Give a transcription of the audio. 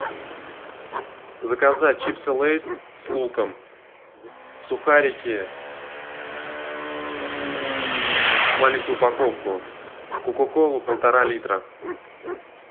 заказать чипсы лейс с луком сухарики маленькую упаковку кока колу полтора литра